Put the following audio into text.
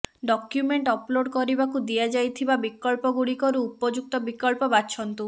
document upload କରିବାକୁ ଦିଆଯାଇଥିବା ବିକଳ୍ପଗୁଡ଼ିକରୁ ଉପଯୁକ୍ତ ବିକଳ୍ପ ବାଛନ୍ତୁ